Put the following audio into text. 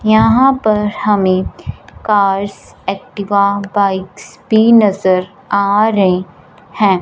यहां पर हमें कार्स एक्टिवा बाइक्स पी नजर आ रही है।